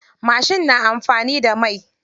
Mashin na anfani da mai.